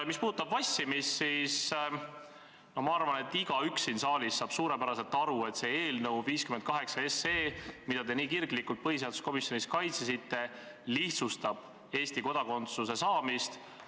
Mis puudutab vassimist, siis ma arvan, et igaüks siin saalis saab suurepäraselt aru, et eelnõu 58, mida te nii kirglikult põhiseaduskomisjonis kaitsesite, lihtsustab Eesti kodakondsuse saamist.